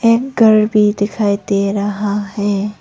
एक कार भी दिखाई दे रहा है।